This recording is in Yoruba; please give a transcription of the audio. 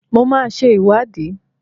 Mo máa ṣe ìwádìí